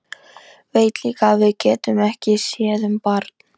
Veit líka að við getum ekki séð um barn.